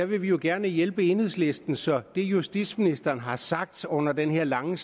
vi vil jo gerne hjælpe enhedslisten så vi justitsministeren har sagt under den her lange